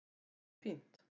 Þetta er fínt.